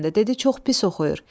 Dedi çox pis oxuyur.